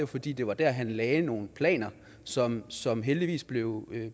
fordi det var der han lagde nogle planer som som heldigvis blev